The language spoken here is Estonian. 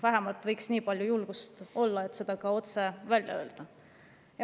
Vähemalt nii palju võiks julgust olla, et see otse välja öelda.